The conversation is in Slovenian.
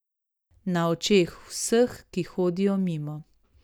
Na očeh vseh, ki hodijo mimo.